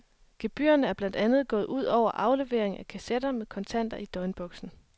Gebyrerne er blandt andet gået ud over aflevering af kassetter med kontanter i døgnboksen.